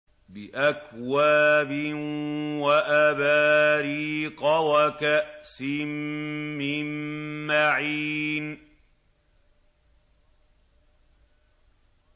بِأَكْوَابٍ وَأَبَارِيقَ وَكَأْسٍ مِّن مَّعِينٍ